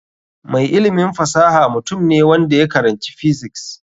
Mai ilimin fasaha mutum ne wanda ya karanci physics.